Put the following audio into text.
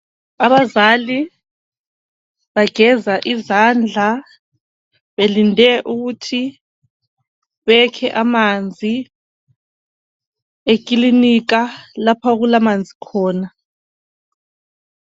Abazali bageza izandla , belinde ukuthi bekhe amanzi, ekilinika lapho okulamanzi khona.